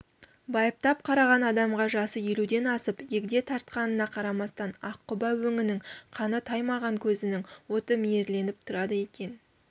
байыптап қараған адамға жасы елуден асып егде тартқанына қарамастан аққұба өңінің қаны таймаған көзінің оты мейірленіп тұрады екен